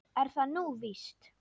Er það nú víst ?